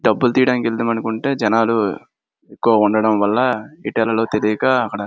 డబ్బులు తీయడానికి వెళదాము అనుకుంటే జనాలు ఎక్కువ ఉండడం వల్ల ఎటు వెళ్ళాలో తెలియక అక్కడ --